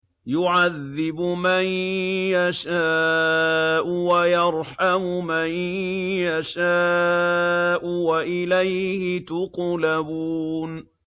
يُعَذِّبُ مَن يَشَاءُ وَيَرْحَمُ مَن يَشَاءُ ۖ وَإِلَيْهِ تُقْلَبُونَ